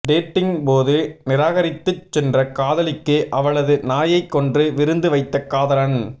டேட்டிங்கின் போது நிராகிரித்துச் சென்ற காதலிக்கு அவளது நாயைக் கொன்று விருந்து வைத்த காதலன்